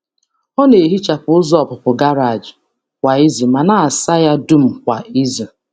Ọ na-ehichapụ ụzọ ọpụpụ garaaji kwa ụtụtụ ma na-asa ya dum kwa izu.